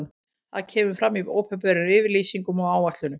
Það kemur fram í opinberum yfirlýsingum og áætlunum.